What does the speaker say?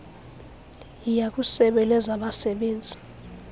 yiya kwisebe lezabasebenzi